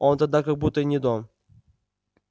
он тогда как будто и не дом